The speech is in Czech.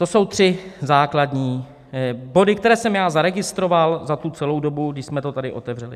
To jsou tři základní body, které jsem já zaregistroval za tu celou dobu, když jsme to tady otevřeli.